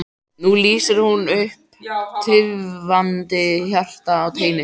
Nú lýsir hún upp tifandi hjarta á teini.